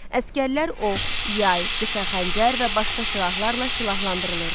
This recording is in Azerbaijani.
Əsgərlər ox, yay, qısa xəncər və başqa silahlarla silahlandırılırdı.